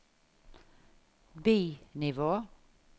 bi-nivå